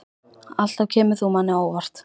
Alltaf kemur þú manni á óvart.